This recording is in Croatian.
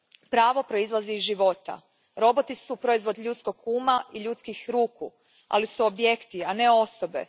Pravo proizlazi iz života. Roboti su proizvod ljudskog uma i ljudskih ruku, ali su objekti, a ne osobe.